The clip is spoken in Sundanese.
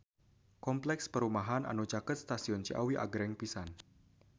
Kompleks perumahan anu caket Stasiun Ciawi agreng pisan